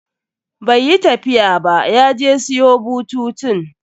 Bai yi tafiya ba, ya je siyo bututun.